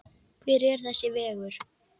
Hver er þessi vegur?